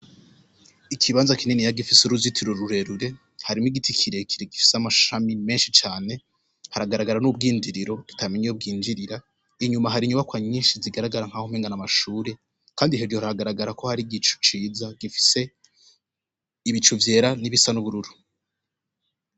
Ikibanza kininiya gifise uruzitiro rurerure harimwo igiti kirekire gifise amashami menshi cane, haragaragara n'ubwinjiriro tutamenya iyo bwinjirira, inyuma hari inyubakwa nyinshi zigaragara nk'aho umenga n'amashure kandi hejuru haragaragara ko hari igicu ciza gifise ibicu vyera n'ibisa n'ubururu.